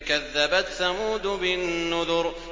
كَذَّبَتْ ثَمُودُ بِالنُّذُرِ